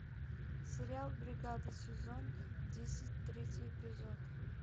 сериал бригада сезон десять третий эпизод